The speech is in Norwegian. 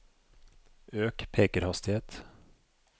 øk pekerhastighet